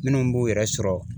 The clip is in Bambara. Minnu b'u yɛrɛ sɔrɔ